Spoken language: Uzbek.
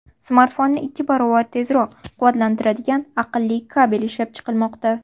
Smartfonni ikki baravar tezroq quvvatlantiradigan aqlli kabel ishlab chiqilmoqda.